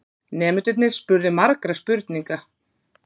Nemendurnir spurðu margra spurninga.